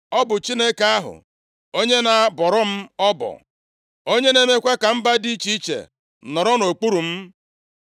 Ọ bụ Chineke ahụ, onye na-abọrọ m ọbọ. Onye na-emekwa ka mba dị iche iche nọrọ nʼokpuru m.